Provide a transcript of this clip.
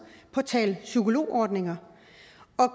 på at tale psykologordninger